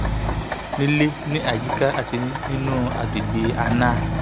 ó ní àrùn líle ní àyíká àti inú agbègbè anal